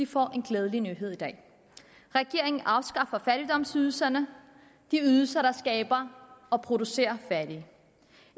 får en glædelig nyhed i dag regeringen afskaffer fattigdomsydelserne de ydelser der skaber og producerer fattige